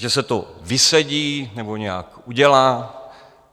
Že se to vysedí nebo nějak udělá?